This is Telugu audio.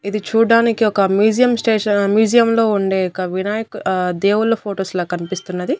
ఇది చూడ్డానికి ఒక మ్యూజియం స్టేషన్ మ్యూజియంలో ఉండే ఒక వినాయక దేవుళ్ళ ఫొటోస్ లా కనిపిస్తున్నది.